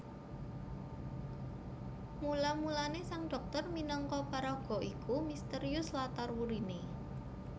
Mula mulané Sang Dhoktor minangka paraga iku mistérius latar wuriné